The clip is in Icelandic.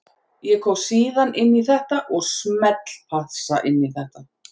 Ég kom síðan inn í þetta og smellpassa inn í þetta.